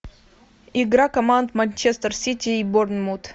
игра команд манчестер сити и борнмут